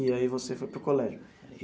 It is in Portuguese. E aí você foi para o colégio?